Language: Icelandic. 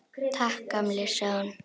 Takk, gamli, sagði hún.